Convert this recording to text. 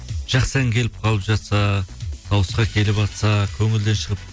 жақсы ән келіп қалып жатса дауысқа келіватса көңілден шығып